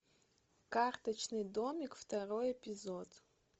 карточный домик второй эпизод